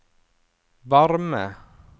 varme